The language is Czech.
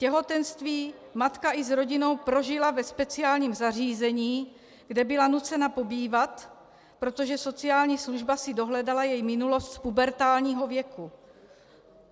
Těhotenství matka i s rodinou prožila ve speciálním zařízení, kde byla nucena pobývat, protože sociální služba si dohledala její minulost z pubertálního věku.